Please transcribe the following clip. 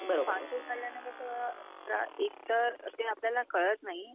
Fast food खाल्याने कसं त्रास एकतर ते आपल्याला कळत नाही.